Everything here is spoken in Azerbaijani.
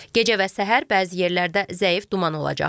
Gecə və səhər bəzi yerlərdə zəif duman olacaq.